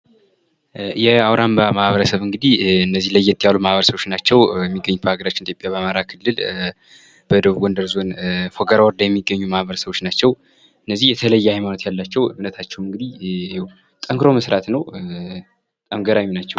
የአውራምባ ማህበረሰብ እንግዲህ እነዚህ ለየት ያሉ ማህበረሰብ ናቸው። በሃገራችን ኢትዮጵያ በአማራ ክልል በደቡብ ጎንደር ዞን የሚገኙ ናቸው የተለየ ሃይማኖት ያላቸው እምነታቸውም ጠንክሮ መስራት ነው። በጣም ገራሚ ናቸው!